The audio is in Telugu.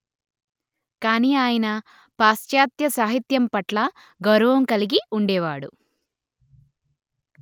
కాని ఆయన పాశ్చాత్య సాహిత్యం పట్ల గౌరవం కలిగి ఉండేవాడు